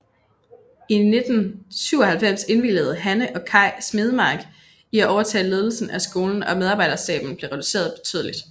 I 1997 indvilligede Hanne og Kaj Smedemark i at overtage ledelsen af skolen og medarbejderstaben blev reduceret betydeligt